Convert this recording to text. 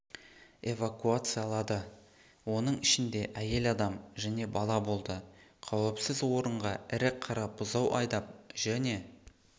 эвакуациялады оның ішінде әйел адам және бала болды қауіпсіз орынға ірі қара бұзау айдап және